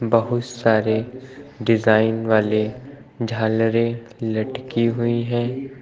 बहुत सारे डिजाइन वाले झालरें लटकी हुई हैं।